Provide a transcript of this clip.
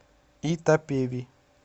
итапеви